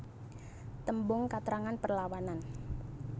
Tembung katrangan perlawanan